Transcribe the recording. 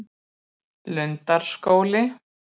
Krossar við þjóðveginn ólöglegir